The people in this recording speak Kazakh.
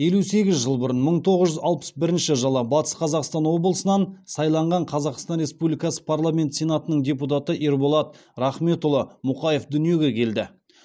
елу сегіз жыл бұрын мың тоғыз жүз алпыс бірінші батыс қазақстан облысынан сайланған қазақстан республикасы парламенті сенатының депутаты ерболат рахметұлы мұқаев дүниеге келді